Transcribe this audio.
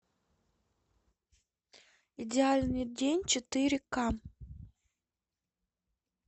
идеальный день четыре ка